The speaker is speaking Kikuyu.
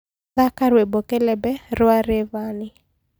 thaka rwĩmbo kelebe rwa rayvanny